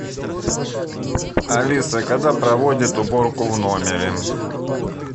алиса когда проводят уборку в номере